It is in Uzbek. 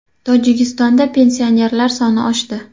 Tojikistonda pensionerlar soni oshdi.